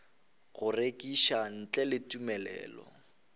go rekiša ntle le tumelelo